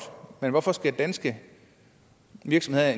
men hvorfor skal danske virksomheder